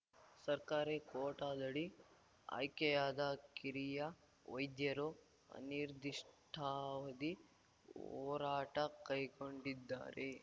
ಸರ್ಕಾರಿ ಕೋಟಾದಡಿ ಆಯ್ಕೆಯಾದ ಕಿರಿಯ ವೈದ್ಯರು ಅನಿರ್ಧಿಷ್ಟಾವಧಿ ಹೋರಾಟ ಕೈಗೊಂಡಿದ್ದಾರೆ